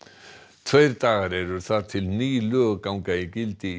tveir dagar eru þar til ný lög ganga í gildi í